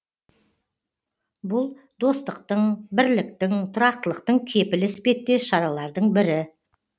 бұл достықтың бірліктің тұрақтылықтың кепілі іспеттес шаралардың бірі